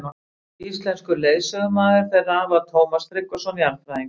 Íslenskur leiðsögumaður þeirra var Tómas Tryggvason jarðfræðingur.